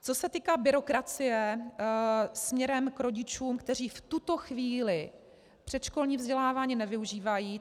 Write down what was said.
Co se týká byrokracie směrem k rodičům, kteří v tuto chvíli předškolní vzdělávání nevyužívají.